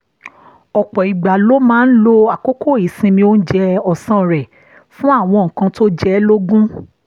ọ̀pọ̀ ìgbà ló máa ń lo àkókò ìsinmi oúnjẹ ọ̀sán rẹ̀ fún àwọn nǹkan tó jẹ ẹ́ lógún